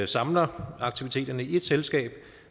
samler aktiviteterne i ét selskab